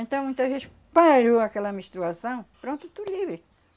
Então, muitas vezes, parou aquela menstruação, pronto, estou livre.